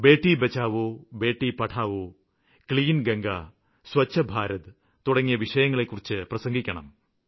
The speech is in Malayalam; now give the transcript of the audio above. ബേട്ടി ബച്ചാവോ ബേട്ടി പഠാവോ ക്ലീൻ ഗംഗ സ്വച്ഛ് ഭാരത് തുടങ്ങിയ വിഷയങ്ങളെക്കുറിച്ച് പ്രസംഗിക്കണം